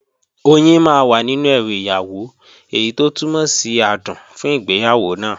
Oyin máa wà nínú ẹrù ìyàwó, èyí tó túmọ̀ sí adùn fún ìgbéyàwó náà